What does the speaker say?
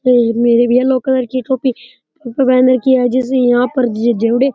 ये yellow colour की copy पहन रखी है जैसे ऊपर पहन राखी है जैसे यहाँ पे --